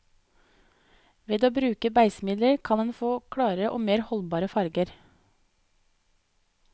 Ved å bruke beisemidler, kan en få klarere og mer holdbare farger.